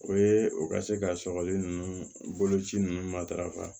O ye o ka se ka sɔgɔli ninnu boloci ninnu matarafa